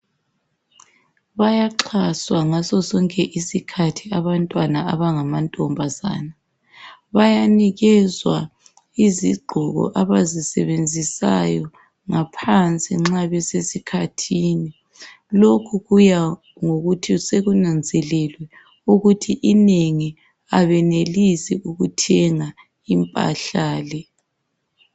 Bayaxhaswa ngasosonke isikhathi abantwana abangamantombazana bayanikezwa izigqoko abazisebenzisayo ngaphansi nxa besesikhathini. Lokhu kuya ngokuthi sekunanzelelwe ukuthi inengi abelenelisi ukuthenga impahla le.